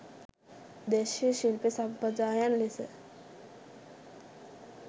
දේශීය ශිල්ප සම්ප්‍රදායයන් ලෙස